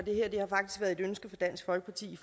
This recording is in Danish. og et ønske fra dansk folkeparti